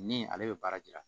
Ni ale bɛ baara yira